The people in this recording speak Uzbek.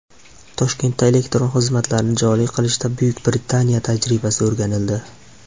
Toshkentda elektron xizmatlarni joriy qilishda Buyuk Britaniya tajribasi o‘rganildi.